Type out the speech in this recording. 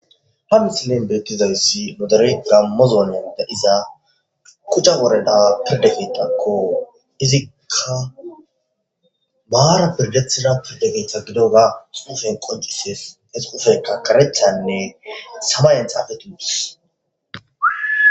hamisinen beettizayssi modere gammozoonen dadiza kucha woreda pirdekeetakko izikka baara pirgethida pirdekeeththa gidoga suushen qoncises esufeka karechanne sabayan xaafetuus